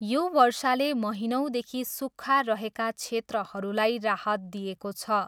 यो वर्षाले महिनौँदेखि सुक्खा रहेका क्षेत्रहरूलाई राहत दिएको छ।